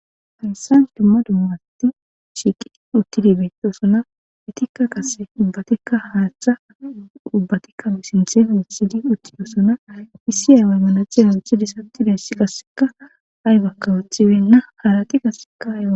Hayssan dumma dumma asati shiqqidi uttidi bettosona eetika qasse ubbatika haththa ubbati sinththen woththidi uttidosona issi awa manaxire woththidi uttidaysi aybbaka ooththibeyna haarati qaseka...